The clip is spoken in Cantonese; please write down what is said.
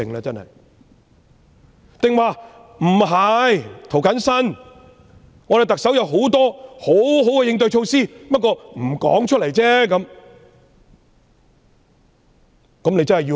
別人可能會反駁說："涂謹申，特首有多項應對措施，只是沒有說出來而已。